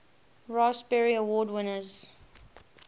raspberry award winners